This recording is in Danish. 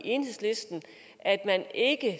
enhedslisten ikke at